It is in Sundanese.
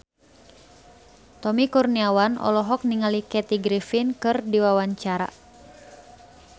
Tommy Kurniawan olohok ningali Kathy Griffin keur diwawancara